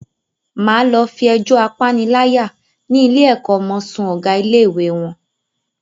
Máa lọ fi ẹjọ́ apaniláyà ni ilé ẹ̀kọ́ ọmọ sún Ọ̀gá ilé-ìwé wọn.